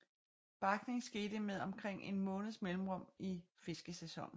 Barkning skete med omkring en måneds mellemrum i fiskesæsonen